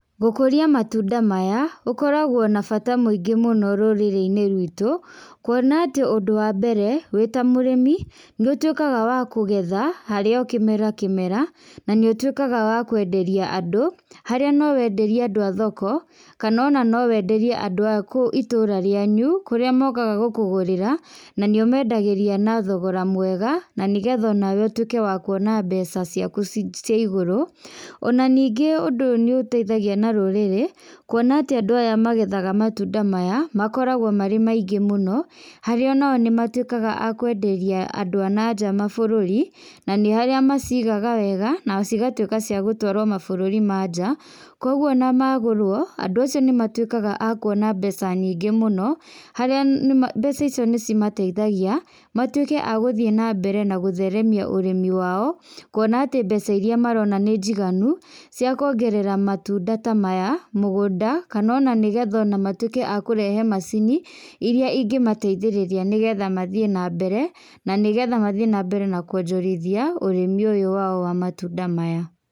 Gũkũrĩa matunda maya gũkorogwo na bata mũingĩ mũno rũrĩri-inĩ rwitũ, kuona atĩ ũndũ wa mbere, wĩta mũrĩmi, nĩũtuĩkaga wa kũgetha, harĩ o kĩmera kĩmera, na nĩũtuĩkaga wa kwenderia andũ, harĩa nowenderie andũ a thoko, kana ona nowenderie andũ a kũu itũra rĩanyu, kũrĩa mokaga gũkũgũrĩra, na nĩ ũmendagĩria na thogora mwega, na nĩgetha onawe ũtuĩke wa kuona mbeca ciaku ci ciaigũrũ, ona ningĩ ũndũ ũyũ nĩũteithagia na rũrĩrĩ, kuona atĩ andũ aya magethaga matunda maya, makoragwo marĩ maingĩ mũno, harĩa onao nĩmatuĩkaga akwenderia andũ a nanja mabũrũri, na nĩ arĩa macigaga wega, na cigatuĩka cia gũtwarwo mabũrũri manja, koguo ona magũrwo, andũ acio nĩmatuĩkaga a kuona mbeca nyingĩ mũno, haria nĩma mbeca icio nĩcimateithagia, matuĩke a gũthiĩ na mbere na gũtheremia ũrĩmi wao, kuona atĩ mbeca iria marona nĩ njiganu, ciakuongerea matunda ta maya mũgũnda, kana ona nĩgetha matuĩke a kũrehe mũcini, iria ingĩmateithĩrĩria nĩgetha mathiĩ na mbere, na nĩgetha mathiĩ nambere na kuonjorithia, ũrũmi ũyũ wao wa matunda maya.